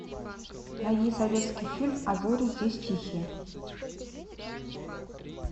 найди советский фильм а зори здесь тихие